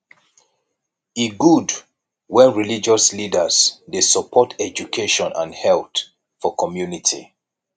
e good wen religious leaders dey support education and health for community